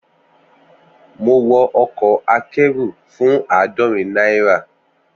Mo wọ ọkọ̀ akẹ́rù fún àádọ́rin náírà